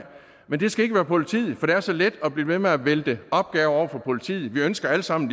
men det skal ikke være politiet for det er så let at blive ved med at vælte opgaver over på politiet vi ønsker alle sammen